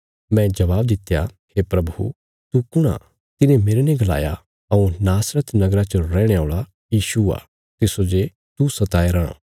मैं जवाब दित्या हे प्रभु तू कुण आ तिने मेरने गलाया हऊँ नासरत नगरा च रैहणे औल़ा यीशु आ तिस्सो जे तू सताया राँ